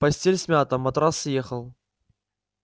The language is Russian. постель смята матрас съехал